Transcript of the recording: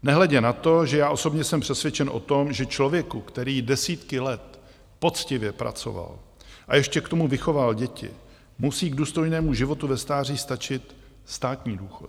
Nehledě na to, že já osobně jsem přesvědčen o tom, že člověku, který desítky let poctivě pracoval a ještě k tomu vychoval děti, musí k důstojnému životu ve stáří stačit státní důchod.